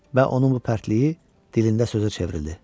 Və onun bu pərtliyi dilində sözə çevrildi.